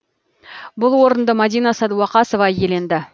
бұл орынды мадина садуақасова иеленді